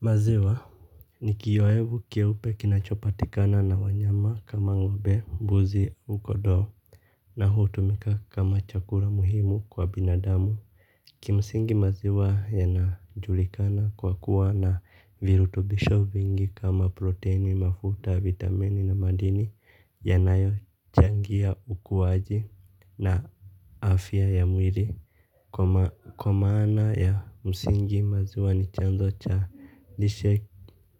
Maziwa, ni kiyowevu keupe kinachopatikana na wanyama kama ng'ombe, mbuzi, au kondoo, na hutumika kama chakula muhimu kwa binadamu. Kimsingi maziwa yanajulikana kwa kuwa na virutubisho vingi kama proteini mafuta, vitamini na madini yanayochangia ukuwaji na afya ya mwili kwa kwa maana ya msingi maziwa ni chanzo cha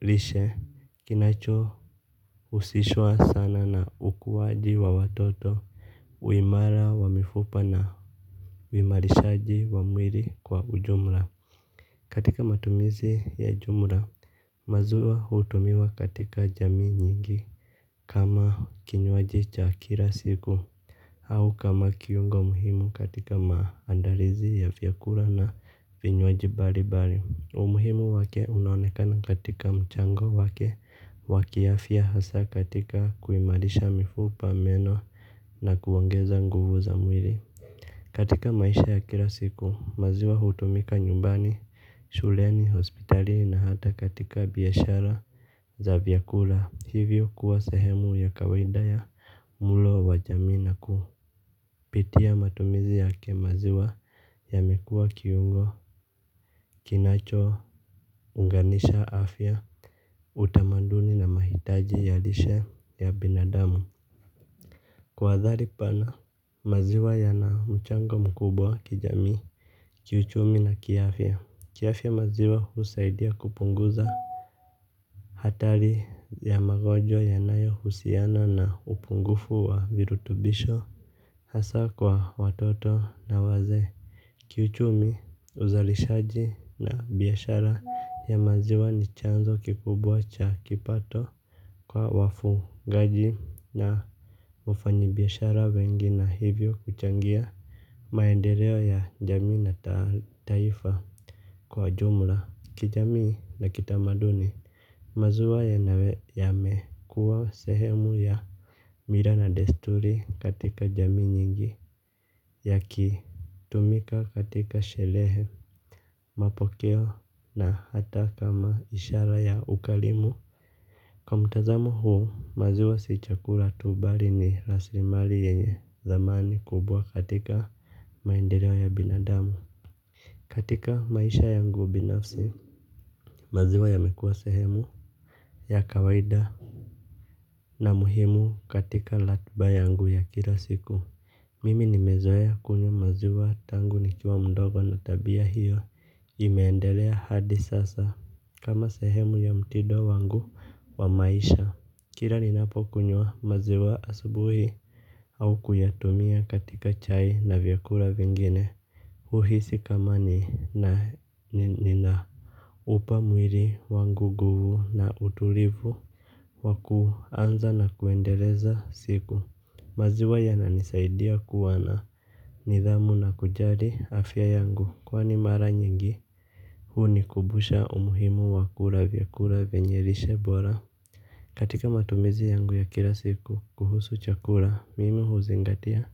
lishe. Kinacho husishwa sana na ukuwaji wa watoto uimara wa mifupa na uimarishaji wa mwili kwa ujumla. Katika matumizi ya jumla. Maziwa hutumiwa katika jamii nyingi. Kama kinywaji cha kila siku au kama kiungo muhimu katika maandalizi ya vyakula na vinywaji mbali mbali. Umuhimu wake unaonekana katika mchango wake wa kiafya hasa katika kuimarisha mifupa meno na kuongeza nguvu za mwili. Katika maisha ya kila siku, maziwa hutumika nyumbani, shuleni, hospitali na hata katika biashara za vyakula. Hivyo kuwa sehemu ya kawaida ya mlo wa jamii na ku. Pitia matumizi yake maziwa yamekuwa kiungo kinacho unganisha afya utamaduni na mahitaji ya lishe ya binadamu. Kwa athari pana maziwa yana mchango mkubwa kijamii. Kiuchumi na kiafya kiafya maziwa husaidia kupunguza hatari ya magonjwa yanayo husiana na upungufu wa virutubisho. Hasa kwa watoto na wazee. Kiuchumi uzalishaji na biashara ya maziwa ni chanzo kikubwa cha kipato kwa wafugaji na wafanyibiashara wengi na hivyo huchangia maendeleo ya jamii na taifa kwa jumla. Kijamii na kitamaduni maziwa yanawe yamekua sehemu ya mila na desturi katika jamii nyingi ya ki tumika katika sherehe mapokeo na hata kama ishara ya ukarimu. Kwa mtazamu huu maziwa si chakula tu bali ni rasilimali yenye thamani kubwa katika maendeleo ya binadamu. Katika maisha yangu binafsi maziwa yamekuwa sehemu ya kawaida na muhimu katika ratiba yangu ya kila siku mimi nimezoea kunywa maziwa tangu nikiwa mdogo na tabia hiyo imeendelea hadi sasa. Kama sehemu ya mtindo wangu wa maisha kila ninapokunywa maziwa asubuhi au kuyatumia katika chai na vyakula vingine huhisi kama nina nina upa mwili wangu nguvu na utulivu wakuanza na kuendeleza siku. Maziwa yananisaidia kuwa na nidhamu na kujali afya yangu kwani mara nyingi hunikumbusha umuhimu wa kula vyakula venye lishe bora. Katika matumizi yangu ya kila siku kuhusu chakula mimi huzingatia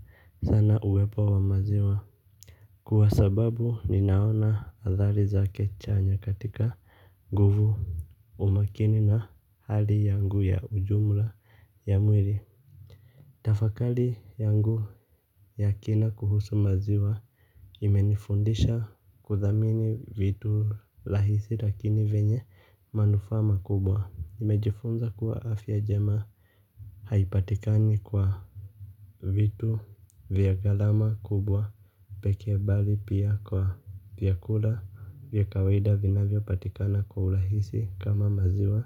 sana uwepo wa maziwa. Kwa sababu ninaona athari zake chanya katika nguvu umakini na hali yangu ya ujumla ya mwili. Tafakari yangu ya kina kuhusu maziwa imenifundisha kuthamini vitu rahisi lakini venye manufaa makubwa. Imejifunza kuwa afya jema. Haipatikani kwa vitu vya gharama kubwa pekee bali pia kwa vyakula vya kawaida vinavyopatikana kwa urahisi kama maziwa.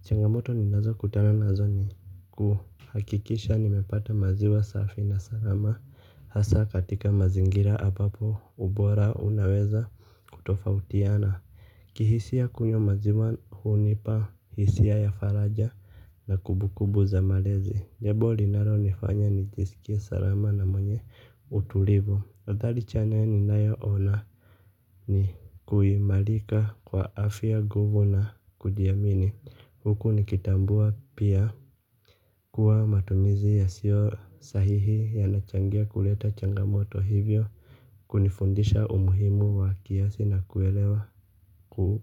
Changamoto ninazokutana nazo ni kuhakikisha nimepata maziwa safi na salama. Hasa katika mazingira ambapo ubora unaweza kutofautiana. Kihisia kunywa maziwa hunipa hisia ya faraja na kumbukumbu za malezi jambo linalonifanya nijisikie salama na mwenye utulivu. Athari chanya ninayoona ni kuimarika kwa afya nguvu na kujiamini huku nikitambua pia kuwa matumizi yasio sahihi yanachangia kuleta changamoto hivyo kunifundisha umuhimu wa kiasi na kuelewa kuwa.